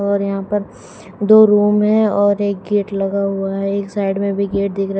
और यहां पर दो रूम है और एक गेट लगा हुआ है। एक साइड में भी गेट दिख रहा --